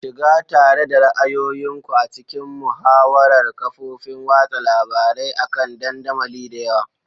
Shiga tare da ra'ayoyin ku a cikin muhawarar kafofin watsa labarai akan dandamali da yawa.